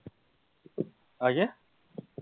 কি হয়েছে?